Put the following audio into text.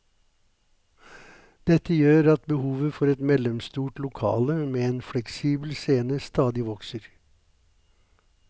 Dette gjør at behovet for et mellomstort lokale med en fleksibel scene stadig vokser.